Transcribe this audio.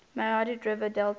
mahanadi river delta